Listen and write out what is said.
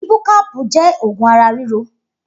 Ibúkàpú jẹ̀ ógùn àrá rìró